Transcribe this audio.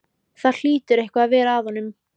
Það hlýtur eitthvað að vera að honum.